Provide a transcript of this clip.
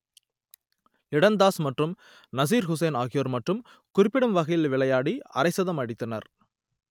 லிடன் தாஸ் மற்றும் நசிர் ஹுசைன் ஆகியோர் மட்டும் குறிப்பிடும் வகையில் விளையாடி அரைசதம் அடித்தனர்